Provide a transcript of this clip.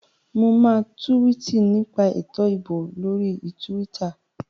Mo máa túwìtì nípa ètò ìbò lórí túwítà